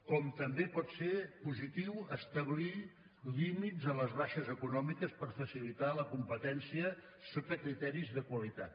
com també pot ser positiu establir límits a les baixes econòmiques per facilitar la competència sota criteris de qualitat